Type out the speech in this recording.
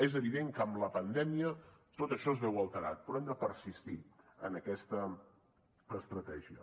és evident que amb la pandèmia tot això es veu alterat però hem de persistir en aquesta estratègia